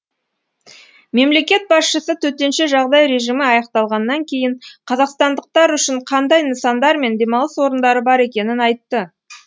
мемлекет басшысы төтенше жағдай режимі аяқталғаннан кейін қазақстандықтар үшін қандай нысандар мен демалыс орындары бар екенін айтты